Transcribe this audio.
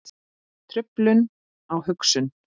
Truflun á hugsun